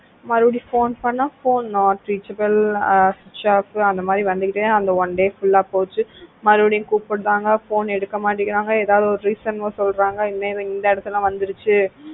மறுபடியும் phone பண்ணா phone not reachable அஹ் switch off அந்த மாதிரி வந்துகிட்டே அந்த one day full ஆ போச்சு மறுபடியும் கூப்பிடுறாங்க phone எடுக்க மாட்டேங்கறாங்க ஏதாவது ஒரு reason சொல்றாங்க இந்த இடத்துல வந்துருச்சு